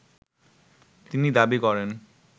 তিনি দাবি করেন